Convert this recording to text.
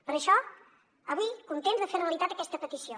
per això avui contents de fer realitat aquesta petició